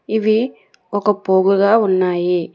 ఇవి ఒక పూవ్వు గా ఉన్నాయి.